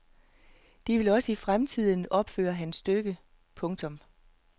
De vil også i fremtiden opføre hans stykker. punktum